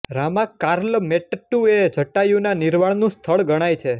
રામાર્કાલ મેટ્ટુ એ જટાયુના નિર્વાણનું સ્થળ ગણાય છે